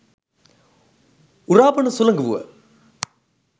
උරා බොන සුළඟ වුව